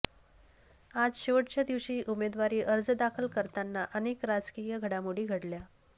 आज शेवटच्या दिवशी उमेदवारी अर्ज दाखल करतांना अनेक राजकीय घडामोडी घडल्या